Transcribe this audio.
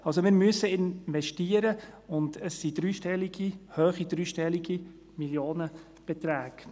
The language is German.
Also: Wir müssen investieren, und es sind hohe dreistellige Millionenbeträge.